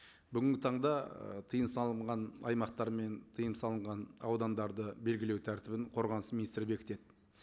бүгінгі таңда ы тыйым салынған аймақтар мен тыйым салынған аудандарды белгілеу тәртібін қорғаныс министрі бекітеді